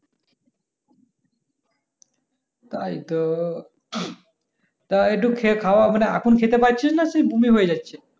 তাই তো তা এই টুক খেয়ে খাওয়া মানে এখন খেতে পাচ্ছিস না কি সেই বমি হয়ে যাচ্ছে